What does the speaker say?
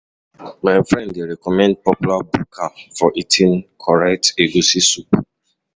My friend dey recommend popular buka for eating correct egusi soup.